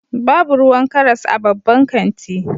Babu ruwan karas a babban kanti